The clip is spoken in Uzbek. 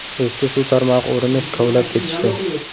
Eski suv tarmog‘i o‘rnini kovlab ketishdi.